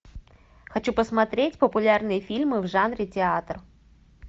хочу посмотреть популярные фильмы в жанре театр